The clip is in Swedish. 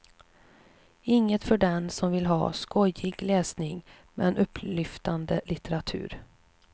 Inget för den som vill ha skojig läsning men upplyftande litteratur.